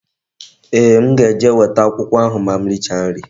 Ee, m ga-eje weta akwụkwọ ahụ ma m richa nri